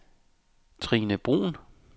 Trine Bruun